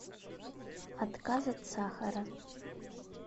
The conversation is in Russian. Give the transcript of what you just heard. отказ от сахара